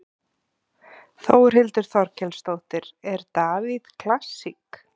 Þórhildur Þorkelsdóttir: Er Davíð klassík?